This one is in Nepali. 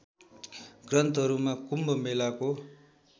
ग्रन्थहरूमा कुम्भ मेलाको